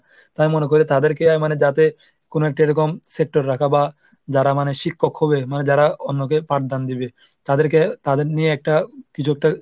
আমি মনে করি তাদেরকে মানে যাতে কোন একটা এরকম রাখা বা, যারা মানে শিক্ষক হবে মানে যারা অন্যকে পাঠদান দিবে তাদেরকে তাদের নিয়ে একটা কিছু একটা